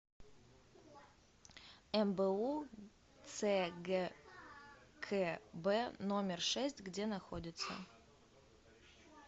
мбу цгкб номер шесть где находится